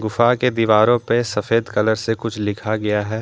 गुफा के दीवारों पे सफेद कलर से कुछ लिखा गया है।